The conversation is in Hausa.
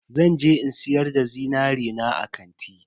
Zan je in siyar da zinari na a kanti.